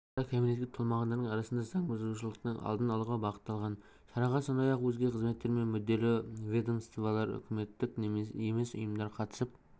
жедел шара кәмелетке толмағандардың арасында заң бұзушылықтың алдын алуға бағытталған шараға сондай-ақ өзге қызметтер мен мүдделі ведомстволар үкіметтік емес ұйымдар қатысып